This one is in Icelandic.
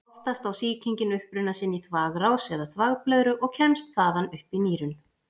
Oftast á sýkingin uppruna sinn í þvagrás eða þvagblöðru og kemst þaðan upp í nýrun.